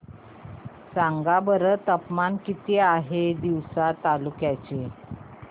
सांगा बरं तापमान किती आहे तिवसा तालुक्या चे